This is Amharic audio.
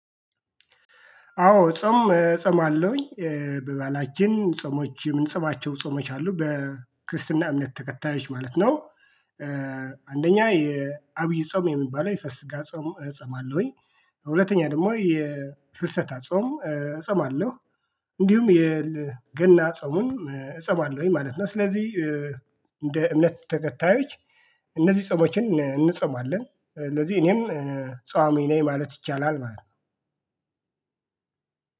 አዎ ጾም እጾማለሁኝ በባህላችን ጾሞች የምንጽማቸው ጾሞች አሉ በክርስትና እምነት ተከታዮች ማለት ነው። አንደኛ የአብይ ጾም የሚባለው የፋሲካ ጾም እጸማለሁኝ ሁለተኛ ደግሞ የፍልሰታ ጾም እጾማለሁ። እንዲሁም የገና ጾምም እጾማለሁኝ ማለት ነው። ስለዚህ እንደ እምነት ተከታዮች እነዚህ ጾሞችን እንጾማለን። እነዚህ እኔም ጿሚ ነኝ ማለት ይቻላል ማለት ነው።